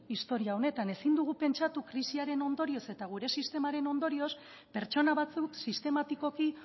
istorio honetan ezin dugu pentsatu krisiaren ondorioz eta gure sistemaren ondorioz pertsona batzuk sistematikoki